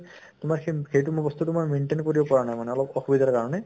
তোমাৰ সেই সেইটো ব্য়ৱস্থাটো মই maintain কৰিব পৰা নাই মানে অলপ অসুবিধাৰ কাৰণে